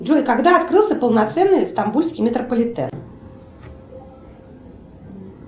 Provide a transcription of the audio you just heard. джой когда открылся полноценный стамбульский метрополитен